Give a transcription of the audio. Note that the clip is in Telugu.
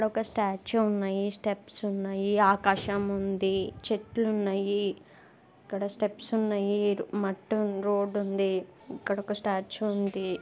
ఒక స్టాచూ ఉన్నాయి. స్టెప్స్ ఉన్నాయి. ఆకాశం ఉంది. చెట్లు ఉన్నాయి. ఇక్కడ స్టెప్స్ ఉన్నాయి. మట్టి ఉంద్ రోడ్డు ఉంది. ఇక్కడ ఒక స్టాచూ ఉంది.